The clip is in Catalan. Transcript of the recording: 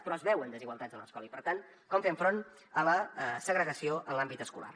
però es veuen desigualtats a l’escola i per tant com fem front a la segregació en l’àmbit escolar